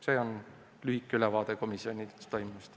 See oli lühike ülevaade komisjonis toimunust.